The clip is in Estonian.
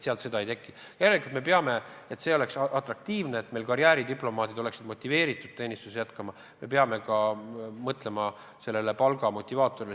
Järelikult, kui me soovime, et see amet oleks atraktiivne, et meie karjääridiplomaadid oleksid motiveeritud teenistust jätkama, me peame mõtlema palgamotivaatorile.